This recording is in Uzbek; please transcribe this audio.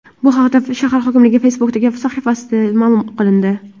Bu haqda shahar hokimligining Facebook’dagi sahifasida ma’lum qilindi .